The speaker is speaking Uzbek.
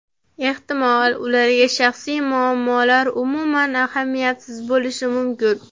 Ehtimol, ularga shaxsiy muammolar umuman ahamiyatsiz bo‘lishi mumkin.